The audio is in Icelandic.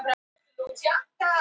Sandi